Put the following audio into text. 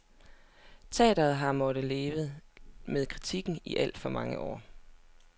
Teater har måttet leve med kritikken i alt for mange år.